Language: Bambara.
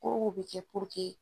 Kow bɛ kɛ